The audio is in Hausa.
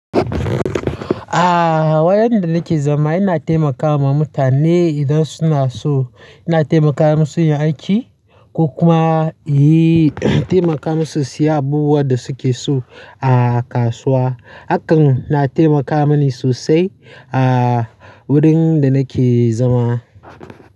Ah, wurin da nake zama yana taimakawa mutane idan suna so. Yana taimaka musu yin aiki ko kuma yi, taimaka musu siya abubuwan da suke so a kasuwa. Hakan na taimaka mani sosai a wurin da nake zama.